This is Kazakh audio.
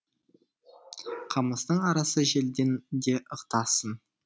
қамыстың арасы желден де ықтасын